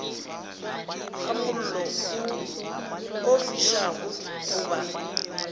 ga mollo o fišago goba